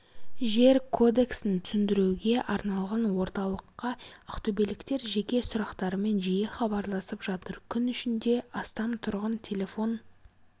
жер кодексін түсіндіруге арналған орталыққа ақтөбеліктер жеке сұрақтарымен жиі хабарласып жатыр күн ішінде астам тұрғын телефон